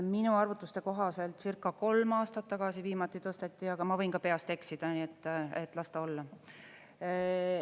Minu arvutuste kohaselt circa kolm aastat tagasi viimati tõsteti, aga ma võin peast eksida, nii et las ta olla.